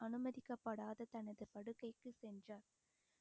அனுமதிக்கப்படாத தனது படுக்கைக்கு சென்றார்